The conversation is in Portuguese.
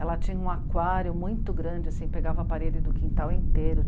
Ela tinha um aquário muito grande, assim, pegava a parede do quintal inteiro.